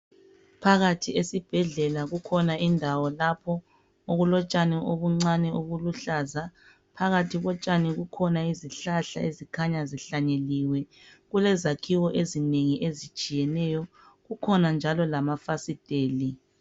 Phakathi esibhedlela kukhona indawo lapho okulotshani obuncane obuluhlaza phakathi kotshani kukhona izihlahla ezikhanya zihlanyeliwe kulezakhiwe ezinengi ezitshiyeneyo kukhona njalo lamafasiteli.